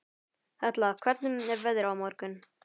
Hella, hvernig er veðrið á morgun?